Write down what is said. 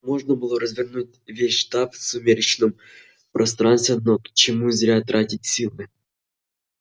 можно было развернуть весь штаб в сумеречном пространстве но к чему зря тратить силы